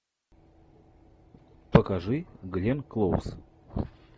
покажи гленн клоуз